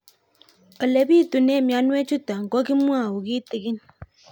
Ole pitune mionwek chutok ko kimwau kitig'ín